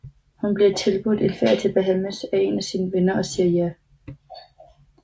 Hun bliver tilbudt en ferie til Bahamas af en af sine venner og siger ja